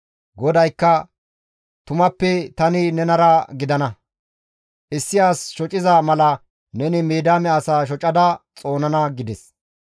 GODAYKKA, «Tumappe tani nenara gidana; issi as shociza mala neni Midiyaame asaa shocada xoonana» gides.